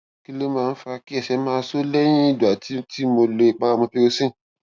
kí ló máa ń fa kí ẹsẹ máa so lẹyìn ìgbà tí tí mo lo ìpara mupirocin